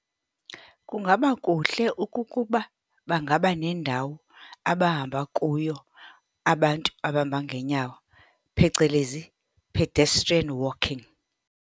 Kungaba kuhle ukukuba bangaba nendawo abahamba kuyo abantu abahamba ngeenyawo, phecelezi pedestiran walking.